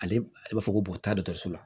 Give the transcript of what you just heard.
Ale b'a fɔ ko bo taa dɔtɔrɔso la